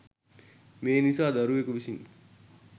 මේ නිසා දරුවෙකු විසින්